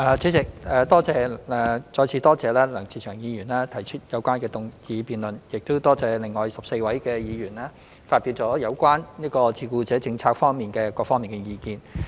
主席，再次多謝梁志祥議員提出有關議案辯論，亦感謝另外14位議員發表有關照顧者政策各方面的意見。